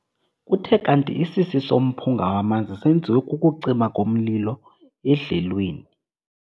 Kuthe kanti isisi somphunga wamanzi senziwe kukucima komlilo edlelweni.